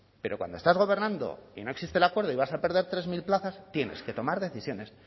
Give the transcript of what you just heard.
pero cuando estás gobernando y no existe el acuerdo y vas a perder tres mil plazas tienes que tomar decisiones